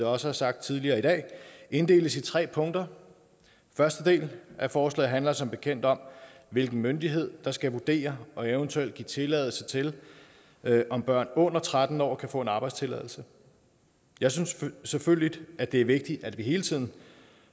også sagt tidligere i dag inddeles i tre punkter første del af forslaget handler som bekendt om hvilken myndighed der skal vurdere og eventuelt give tilladelse til om børn under tretten år kan få en arbejdstilladelse jeg synes selvfølgelig at det er vigtigt at vi hele tiden